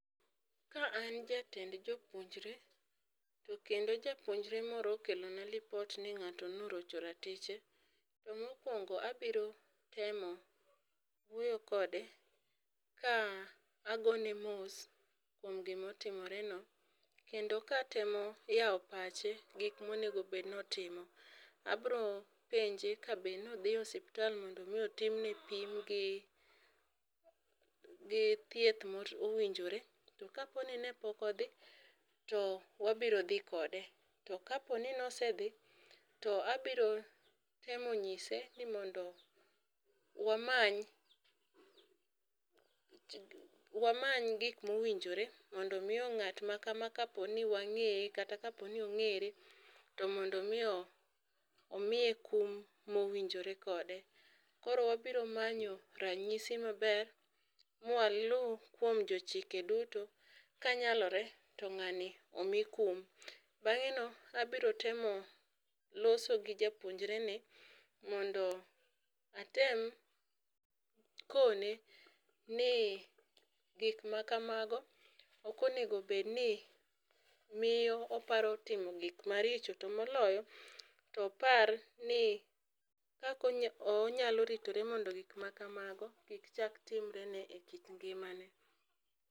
Ka an jatend jopuonjre to kendo japunjre moro okelo na lipot ni ng'ato ne orocho ratiche, to mokuongo abiro temo wuoyo kode ka agone mos kuom gi ma otimore no kendo ka atemo yawo pache gik ma onego bed ni otimo. Abro penje ka be ne odhi osiptal mondo mi otim ne pim gi gi thieth ma owinjore. Ka po ni pok ne odhi to wabiro dhi kode, to ka po ni ne osedhi to abiro temo ng'ise ni mondo wamany wamany gik ma owinjore mondo mi ng'at ma kama k po ni wang'eye kata ka po ni ong'ere to mondo mi omiye kum ma owinjore kode. Koro wabiro manyo ranyisi ma ber ma ma walu kuom jo chike duto kanyalore to ng'ani omi kum. Bang'e no abiro temo loso gi japuonjre ni kendo atem kone ni gik ma kamago ok onego bed ni miye oparo timo gik ma richo to moloyo to opar ni kaka onyal ritore mondo gik ma kamago kik chak timre ne e kit ngima ne.